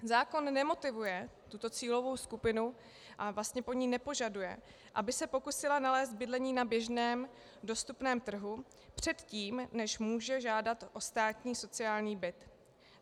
Zákon nemotivuje tuto cílovou skupinu a vlastně po ní nepožaduje, aby se pokusila nalézt bydlení na běžném dostupném trhu předtím, než může žádat o státní sociální byt.